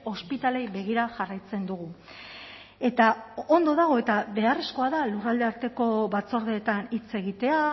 ospitaleei begira jarraitzen dugu eta ondo dago eta beharrezkoa da lurralde arteko batzordeetan hitz egitea